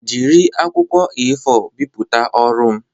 Jiri akwụkwọ A4 bipụta ọrụ m